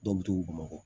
Dɔw bɛ tugu bamakɔ